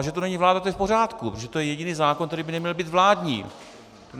A že tu není vláda, to je v pořádku, protože to je jediný zákon, který by neměl být vládní!